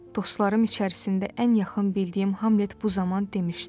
Dostlarım içərisində ən yaxın bildiyim Hamlet bu zaman demişdi: